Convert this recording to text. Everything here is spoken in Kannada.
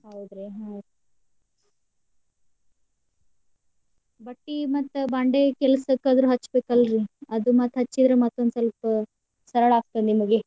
ಹೌದ್ರಾ ಹ್ಮ್. ಬಟ್ಟಿ ಮತ್ತ್ ಬಾಂಡೆ ಕೆಲ್ಸ್ ಕದ್ ಹಚ್ಚಬೇಕಲ್ರಿ? ಅದ ಮತ್ತ್ ಹಚ್ಚಿದ್ರ್ ಮತ್ತೊಂದ ಸ್ವಲ್ಪ ಸರಳ ಆಗ್ತದ ನಿಮಗೆ.